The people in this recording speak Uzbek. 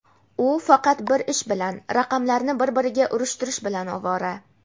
U faqat bir ish bilan – raqamlarni bir-biriga urishtirish bilan ovora.